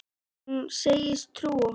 Hún segist trúa honum.